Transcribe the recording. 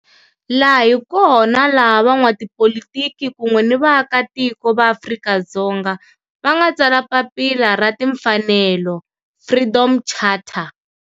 Laha hi kona la van'watipolitiki kun'we ni vaaka tiko va Afrika-Dzonga va nga tsala papila ra timfanelo, Freedom Charter.